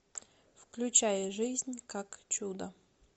включай жизнь как чудо